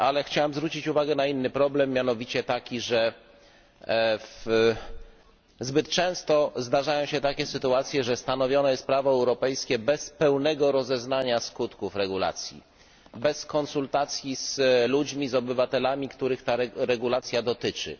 Ale chciałem zwrócić uwagę na inny problem, mianowicie taki, że zbyt często zdarzają się takie sytuacje, że stanowione jest prawo europejskie bez pełnego rozeznania skutków regulacji, bez konsultacji z ludźmi, z obywatelami, których ta regulacja dotyczy.